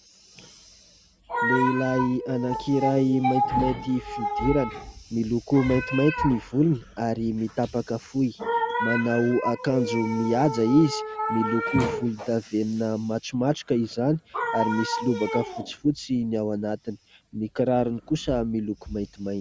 Lehilahy anankiray maintimainty fihodirana, miloko maintimainty ny volony ary mitapaka fohy ; manao akanjo mihaja izy, miloko volondavenona matromatroka izany ary misy lobaka fotsifotsy ny ao anatiny ; ny kirarony kosa miloko maintimainty.